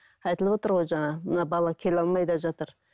айтылып отыр ғой жаңа мына бала келе алмай да жатыр